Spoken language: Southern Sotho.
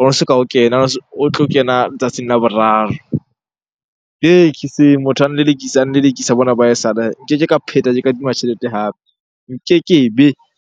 Ono soka o kena o tlo kena letsatsing la boraro. Hee motho a nlelekisa, a nlelekisa bona ba ha esale. Nkeke ka phetha ke kadima tjhelete hape, nkekebe.